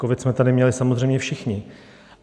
Covid jsme tady měli samozřejmě všichni.